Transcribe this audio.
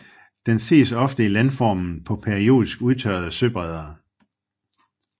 Den ses ofte i landformen på periodisk udtørrede søbredder